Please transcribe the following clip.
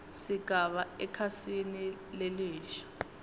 sigaba ekhasini lelisha